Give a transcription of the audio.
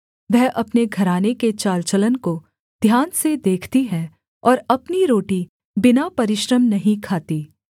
वह अपने घराने के चाल चलन को ध्यान से देखती है और अपनी रोटी बिना परिश्रम नहीं खाती